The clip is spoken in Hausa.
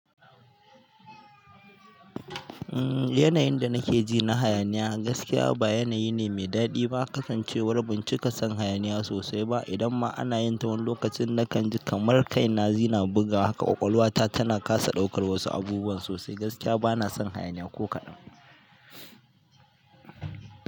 Umm yanayin da nake ji na hayaniya, gaskiya ba yanayi ne mai daɗi ba. Kasancewar ban cika son hayaniya sosai ba, idan ma ana yinta wani lokacin na kan ji kamar kaina yana ɓugawa haka ƙwaƙwalwa ta tana kasa ɗaukar wasu abubuwa sosai. Gaskiya bana son hayaniya ko kaɗan.